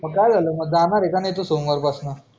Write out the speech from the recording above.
काय झालं जाणार आहेका मग सोमवार पासन